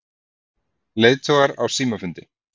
Leiðtogar á símafundi